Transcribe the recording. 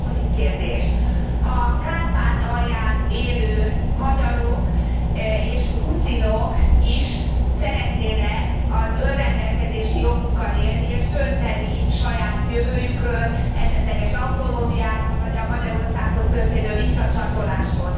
Második kérdés a Kárpátalján élő magyarok és ruszinok is szeretnének az önrendelkezési jogukkal élni és dönteni saját jövőjükről, esetleges autonómiáról, vagy a Magyarországhoz történő visszacsatolásról.